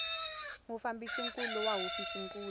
mufambisi nkulu wa hofisi nkulu